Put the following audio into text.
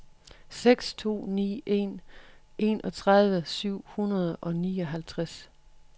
seks to ni en enogtredive syv hundrede og nioghalvtreds